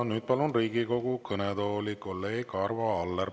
Ja nüüd palun Riigikogu kõnetooli kolleeg Arvo Alleri.